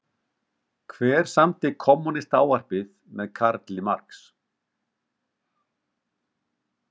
Hver samdi Kommúnistaávarpið með Karl Marx?